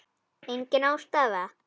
Engin ástæða?